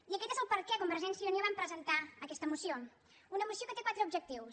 i aquest és el per què convergència i unió vam presentar aquesta moció una moció que té quatre objectius